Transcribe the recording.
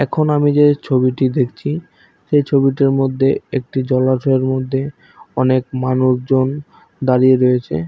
এখন আমি যে ছবিটি দেখছি সে ছবিটিটির মধ্যে একটি জলাশয়ের মধ্যে অনেক মানুষজন দাঁড়িয়ে রয়েছে।